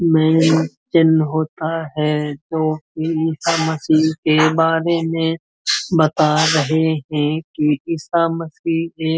में जन्म होता है जोकि ईशा मशीह के बारे में बता रहे हैं कि ईशा मशीह एक --